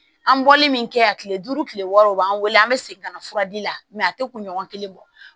An bɔli min kɛ a kile duuru kile wɔɔrɔ o b'an wele an bɛ segin ka na furadi la a tɛ kunɲɔgɔn kelen bɔ